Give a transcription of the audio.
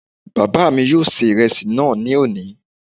Bàbá mi yóò ṣe ìrẹsì náà ní òní